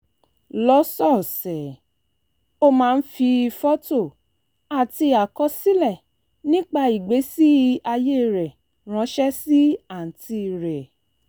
lọ́sọ̀ọ̀sẹ̀ ó máa ń fi fọ́tò àti àkọsílẹ̀ nípa ìgbésí ayé rẹ̀ ránṣẹ́ sí àǹtí rẹ̀